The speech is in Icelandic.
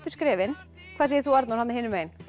skrefin hvað segir þú Arnór þarna hinum megin